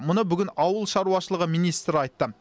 мұны бүгін ауыл шаруашылығы министрі айтты